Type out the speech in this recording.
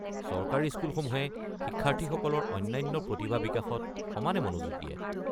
চৰকাৰী স্কুলসমূহে শিক্ষাৰ্থীসকলৰ অন্যান্য প্ৰতিভা বিকাশত সমানে মনোযোগ দিয়ে।